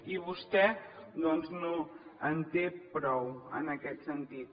i vostè doncs no en té prou en aquest sentit